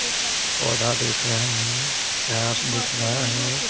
पौधा दिख रहा है घास दिख रहा है।